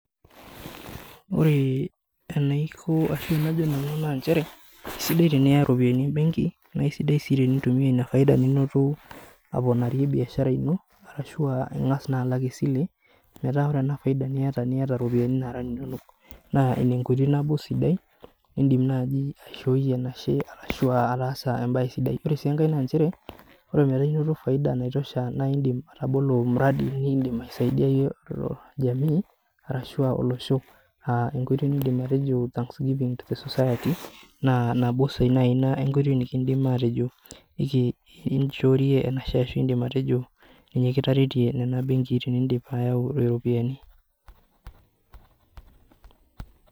Ore enaikoni ashu enajo nanu naa nchere, eisidai teniya ropiyiani embenki naa isidai sii tinintumiya ina faida ninoto aponarie biashara ino ashu ingas naa alak esile ,metaa ore ena faida niyata niyata ropiyiani naata ninonok. Naa ina enkoitoi naaji nabo sidai nindim aishoo enashe ashua ataasa embae sidai. Ore sii enkae naa nchere, oremetaa inoto faida naitosha naa indim atabolo mradi nindim aisaidiyayie jamii arashu olosho. Enkoitoi nindim atejo thanks giving to the society naa nabo naaji enkoitoi nikiindim atejo inchoorie enashe ashu indim atejo kitaretie ena benki tenindip ayau ropiyiani.